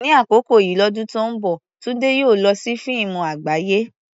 Ní àkókò yìí lọ́dún tó ń bọ̀, Tunde yóò lọ sí fíìmù àgbáyé.